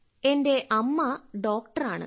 എന്റെ അമ്മ ഡോക്ടറാണ്